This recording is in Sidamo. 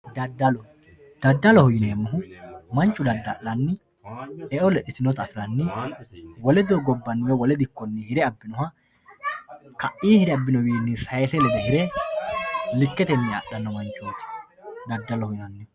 Dadallu, dadalloho yineemohu manchu dada'lanni e'o lexitinotta afiranni wole dogubaninno wole dikonninno hire abinoha ka'ii hire abinowinni lede sayise hire liketenni afhano manchoti dadalloho yinayihu